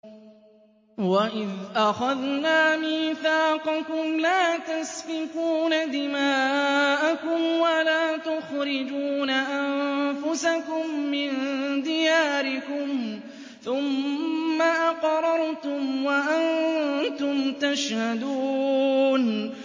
وَإِذْ أَخَذْنَا مِيثَاقَكُمْ لَا تَسْفِكُونَ دِمَاءَكُمْ وَلَا تُخْرِجُونَ أَنفُسَكُم مِّن دِيَارِكُمْ ثُمَّ أَقْرَرْتُمْ وَأَنتُمْ تَشْهَدُونَ